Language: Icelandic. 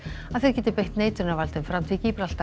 að þeir geti beitt neitunarvaldi um framtíð